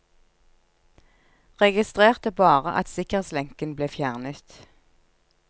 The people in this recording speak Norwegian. Registrerte bare at sikkerhetslenken ble fjernet.